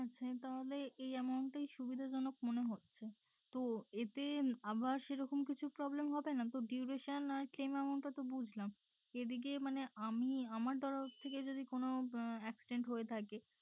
আচ্ছা তাহলে এই amount টাই সুবিধাজনক মনে হচ্ছে তো এতে আবার সেরকম কিছু problem হবে নাতো duration আর claim এমাউনট টা তো বুঝলাম এদিকে মানে আমি আমার তরফ থেকে যদি কোনো আহ accident হয়ে থাকে